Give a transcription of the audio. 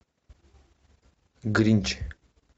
гринч